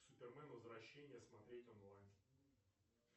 супермен возвращение смотреть онлайн